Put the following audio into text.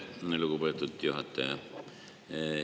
Aitäh, lugupeetud juhataja!